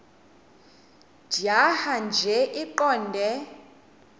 tjhaya nje iqondee